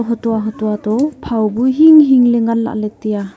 hutua hutua toh phao bu hing hing ley ngan leh ley taiya.